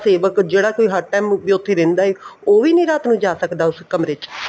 ਸੇਵਕ ਜਿਹੜਾ ਕੋਈ ਹਰ time ਉੱਥੇ ਰਹਿੰਦਾ ਏ ਉਹ ਵੀ ਨਹੀਂ ਰਾਤ ਨੂੰ ਜਾ ਸਕਦਾ ਉਸ ਕਮਰੇ ਚ